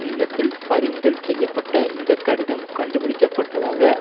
இல்லத்தில் பறிமுதல் செய்ய பட்ட இந்த கடிதம் கண்டுபிடிக்க பட்டதாக